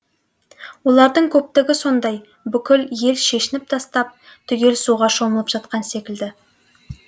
олардың көптігі сондай бүкіл ел шешініп тастап түгел суға шомылып жатқан секілді